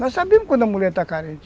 Nós sabemos quando a mulher está carente.